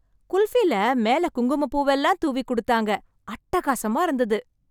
குல்ஃபில மேல குங்குமப்பூவெல்லாம் தூவி கொடுத்தாங்க, அட்டகாசமா இருந்தது.